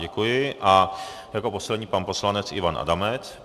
Děkuji a jako poslední pan poslanec Ivan Adamec.